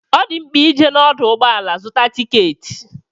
Ọ di mkpa ije n'ọdụ ụgbọala zụta tikeeti.